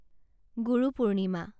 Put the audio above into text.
Guru Purnima